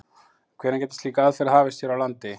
En hvenær gæti slík aðferð hafist hér á landi?